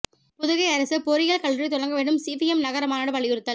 புதுகை அரசு பொறியியல் கல்லூரி தொடங்க வேண்டும் சிபிஎம் நகர மாநாடு வலியுறுத்தல்